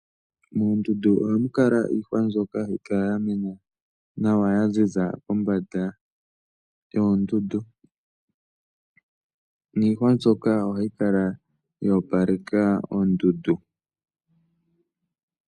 Moondundu ohamu kala iihwa mbyoka hayi kala ya mena nawa ya ziza kombanda yoondundu, niihwa mbyoka ohayi kala ya opaleka oondundu.